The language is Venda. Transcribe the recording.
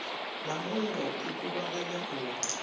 na muungo i kuvhanganya u